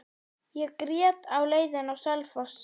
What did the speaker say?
Ég grét á leiðinni á Selfoss.